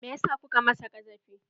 Me ya sa kuka masa ƙazafi?